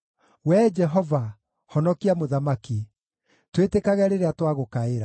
Wee Jehova, honokia mũthamaki! Twĩtĩkage rĩrĩa twagũkaĩra!